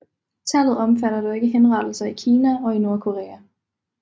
Tallet omfatter dog ikke henrettelser i Kina og i Nordkorea